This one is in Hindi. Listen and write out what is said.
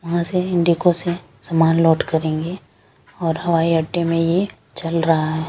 वहाँ से इन्डिगो दे सामान लोट करेंगे और हवाई अड्डे में चल रहा है।